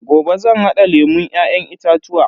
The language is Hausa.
Gobe zan hada lemun Ya'yan itatuwa.